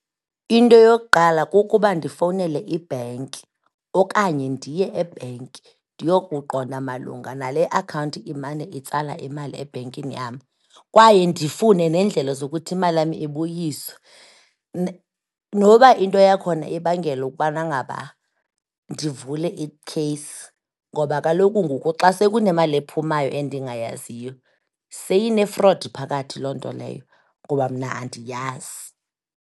Into yokuqala kukuba ndifowunele ibhenki okanye ndiye ebhenki, ndiyokuqonda malunga nale akhawunti imane itsala imali ebhenkini yam kwaye ndifune neendlela zokuthi imali yam ibuyiswe. Noba into yakhona ibangela ukubana ngaba ndivule ikheyisi ngoba kaloku ngoku xa sekunemali ephumayo endingayaziyo seyine-fraud phakathi loo nto leyo, kuba mna andiyazi.